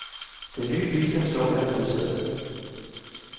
Den nye bistandslov er vedtaget.